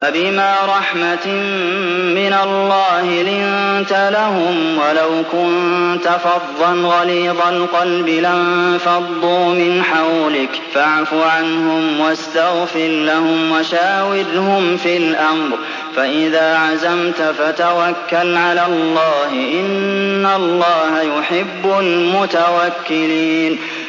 فَبِمَا رَحْمَةٍ مِّنَ اللَّهِ لِنتَ لَهُمْ ۖ وَلَوْ كُنتَ فَظًّا غَلِيظَ الْقَلْبِ لَانفَضُّوا مِنْ حَوْلِكَ ۖ فَاعْفُ عَنْهُمْ وَاسْتَغْفِرْ لَهُمْ وَشَاوِرْهُمْ فِي الْأَمْرِ ۖ فَإِذَا عَزَمْتَ فَتَوَكَّلْ عَلَى اللَّهِ ۚ إِنَّ اللَّهَ يُحِبُّ الْمُتَوَكِّلِينَ